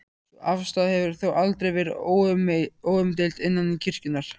Sú afstaða hefur þó aldrei verið óumdeild innan kirkjunnar.